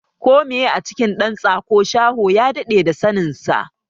Ko meye a cikin dan tsako, shaho ya dade da saninsa.